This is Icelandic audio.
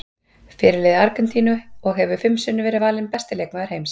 Fyrirliði Argentínu og hefur fimm sinnum verið valinn besti leikmaður heims.